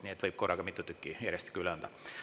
Nii et võib korraga mitu tükki järjestikku üle anda.